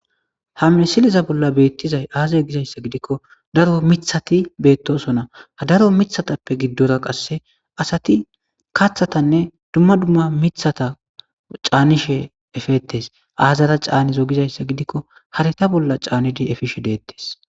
hamesiliza bolla beettizay aazay gizayssa gidikko daro mithati beettosona ha daro mithatappe giddora qasse asati kaathatanne dumma dumma mithata caanishe efettes aazara caanizo gizayssa gidikko hareta bolla caanidi efishe deettes